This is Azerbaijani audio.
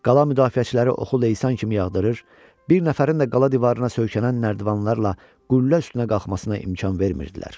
Qala müdafiəçiləri oxu leysan kimi yağdırır, bir nəfərin də qala divarına söykənən nərdivanlarla qüllə üstünə qalxmasına imkan vermirdilər.